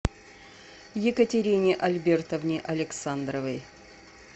екатерине альбертовне александровой